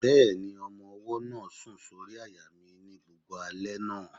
Bẹ́ẹ̀ni, ọmọ-ọwọ́ náà sùn sórí àyà mi ní gbogbo alẹ́ náà